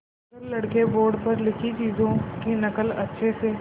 अगर लड़के बोर्ड पर लिखी चीज़ों की नकल अच्छे से